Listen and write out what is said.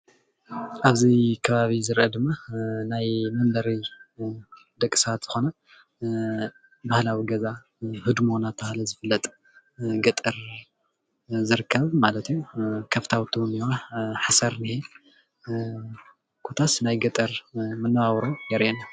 ኣብዚ ከባቢ ዝረአ ድማ ናይ መንበሪ ደቂ ሰባት ዝኾነ ባህላዊ ገዛ ህድሞ እናተባህለ ዝፍለጥ ገጠር ዝርከብ ማለት እዩ ከፍታውቲ እኔአዋ ሓሰር እኒሀ ኮታስ ናይ ገጠር መነባብሮ የርእየና።